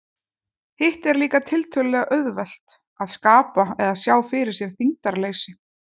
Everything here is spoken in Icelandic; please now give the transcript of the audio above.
Hitt er líka tiltölulega auðvelt, að skapa eða sjá fyrir sér þyngdarleysi.